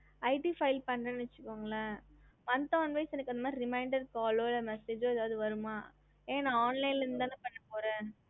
ஹம்